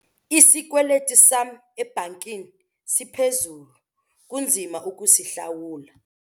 Isikweliti sam ebhankini siphezulu kunzima ukusihlawula.